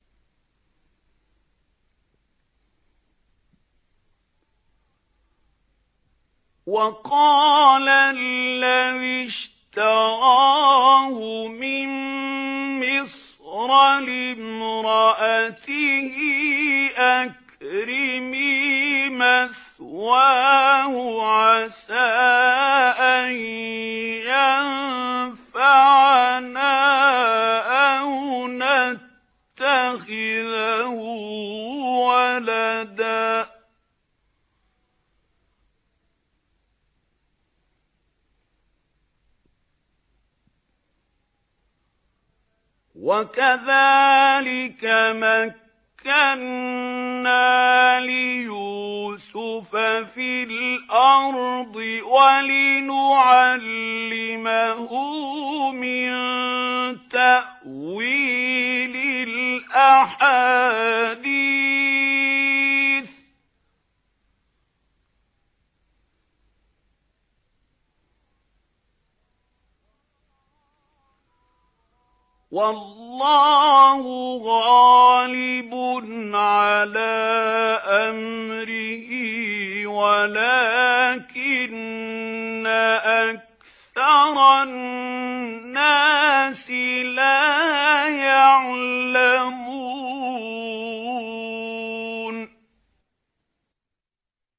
وَقَالَ الَّذِي اشْتَرَاهُ مِن مِّصْرَ لِامْرَأَتِهِ أَكْرِمِي مَثْوَاهُ عَسَىٰ أَن يَنفَعَنَا أَوْ نَتَّخِذَهُ وَلَدًا ۚ وَكَذَٰلِكَ مَكَّنَّا لِيُوسُفَ فِي الْأَرْضِ وَلِنُعَلِّمَهُ مِن تَأْوِيلِ الْأَحَادِيثِ ۚ وَاللَّهُ غَالِبٌ عَلَىٰ أَمْرِهِ وَلَٰكِنَّ أَكْثَرَ النَّاسِ لَا يَعْلَمُونَ